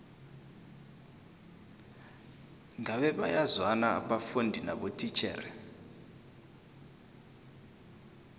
ngabe bayazwana abafundi nabotitjhere